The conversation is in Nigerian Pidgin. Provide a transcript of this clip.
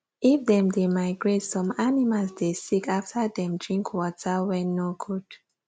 if them dey migrate some animals dey sick after dem drink water wen nor good